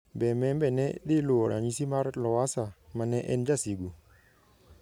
Be Membe ne dhi luwo ranyisi mar Lowassa ma ne en 'jasigu'?